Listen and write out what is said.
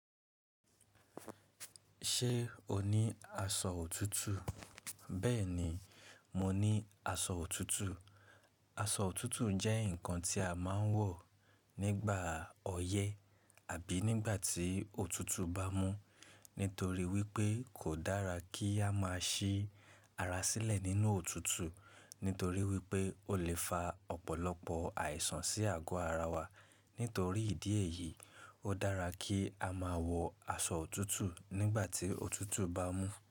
Ṣé o ní aṣọ òtútù? Bẹ́ẹ̀ni, mo ní aṣọ òtútù. Aṣọ òtútù jẹ́ nǹkan tí a máa ń wọ̀ nígbà ọyẹ́ àbí nígbà tí òtútù bá mú. Nítorí wípé kò dára kí á máa ṣí ara sílẹ̀ nínú òtútù, nítorí wípé ó lè fa ọ̀pọ̀lọpọ̀ àìsàn sí àgọ́ ara wa. Nítorí ìdí èyí, ó dára kí a máa wọ aṣọ òtútù nígbà tí òtútù bá mú.